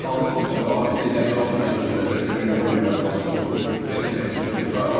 Yəni hansı futbolçu, adi legioner olsun, ən güclü legioner olsun və yaxud başqası olsun, gedib heç bir tutur.